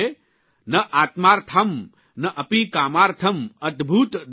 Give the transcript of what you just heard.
ન આત્માર્થમ્ ન અપિ કામાર્થમ્ અતભૂત દયાં પ્રતિ